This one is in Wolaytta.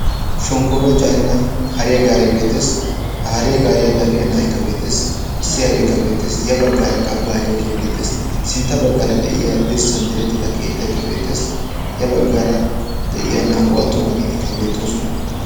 Shonkkooruwaa caanida hariyaa gaaree beettees. ha hariyaa gariyaa dafiyaa issi na'aykka beettees. na'aykka beettees. ya baggaaraka bajaajee beettees. sintta baggaara diyaa dirssan direttida keettaykka beettees. ya baggaara de'iyaa naa"u attumaagetikka beettoosona.